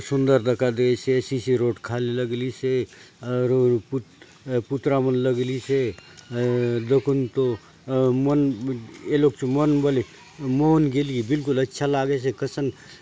सुंदर दखा देयसे सीसी रोड खाले लगलीसे अ रुई पूत पुतरा मन लगलीसे अ दखून तो मन ये लोग चो मन बले मोहुन गेली बिल्कुल अच्छा लागेसे कसन।